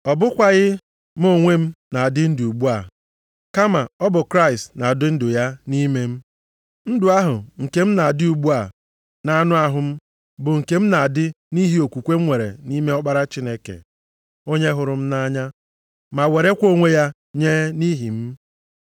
Ọ bụkwaghị mụ onwe m na-adị ndụ ugbu a, kama ọ bụ Kraịst na-adị ndụ ya nʼime m. Ndụ ahụ nke m na-adị ugbu a nʼanụ ahụ m bụ nke m na-adị nʼihi okwukwe m nwere nʼime Ọkpara Chineke, onye hụrụ m nʼanya, ma werekwa onwe ya nye nʼihi m.